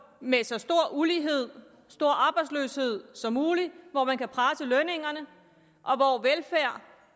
med så stor ulighed stor arbejdsløshed som muligt hvor man kan presse lønningerne